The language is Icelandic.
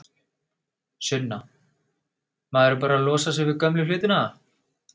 Sunna: Maður er bara að losa sig við gömlu hlutina?